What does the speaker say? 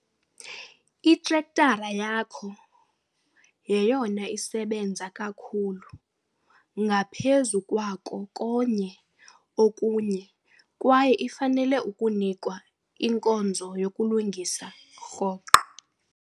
Itrektara yakho yeyona isebenza kakhulu ngaphezu kwako konye okunye kwaye ifanele ukunikwa inkonzo yokuyilungisa rhoqo.